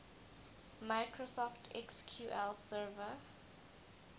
microsoft sql server